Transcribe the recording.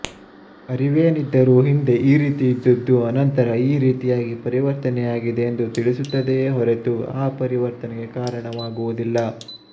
ಅರಿವೇನಿದ್ದರೂ ಹಿಂದೆ ಈ ರೀತಿ ಇದ್ದದ್ದು ಅನಂತರ ಈ ರೀತಿಯಾಗಿ ಪರಿವರ್ತನೆಯಾಗಿದೆ ಎಂದು ತಿಳಿಸುತ್ತದೆಯೇ ಹೊರತು ಆ ಪರಿವರ್ತನೆಗೆ ಕಾರಣವಾಗುವುದಿಲ್ಲ